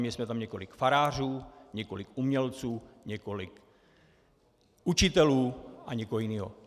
Měli jsme tam několik farářů, několik umělců, několik učitelů a nikoho jiného.